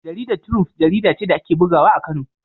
Jaridar Triump jarida ce da ake bugawa a Kano.